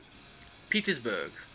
pietersburg